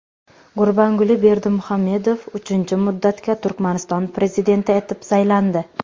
Gurbanguli Berdimuhamedov uchinchi muddatga Turkmaniston prezidenti etib saylandi.